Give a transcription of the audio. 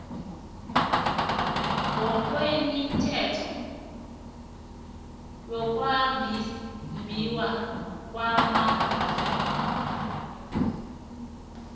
ngokwemithetho yokwabiwa kwamafa